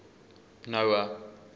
noah